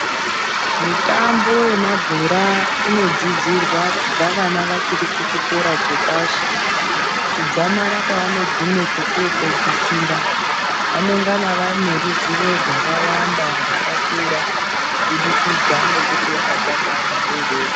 Mitombo yemabhora inodzidzirwa kubva vana vachiri kuchikora chepashi kudzamara kwavanogume kwekuno pedzisira vanengana vaneruzivo rwakawanda rwakakura kubudikidza ngekuti wakatanga ari mudodori.